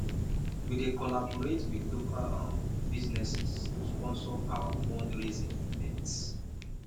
we dey collaborate with local um businesses to sponsor our fundraising events